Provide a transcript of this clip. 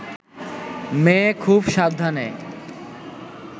মেয়ে খুব সাবধানে